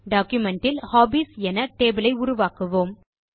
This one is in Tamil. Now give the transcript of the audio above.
டாக்குமென்ட் இல் ஹாபீஸ் என டேபிள் ஐ உருவாக்குவோம்